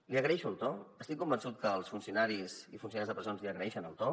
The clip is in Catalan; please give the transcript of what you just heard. li agraeixo el to estic convençut que els funcionaris i funcionàries de presons li agraeixen el to